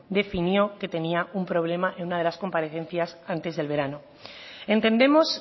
definió que tenía un problema en una de las comparecencias antes del verano entendemos